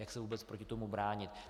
Jak se vůbec proti tomu bránit.